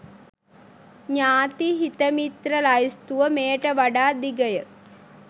ඥාති හිත මිත්‍ර ලැයිස්තුව මෙයට වඩා දිගය.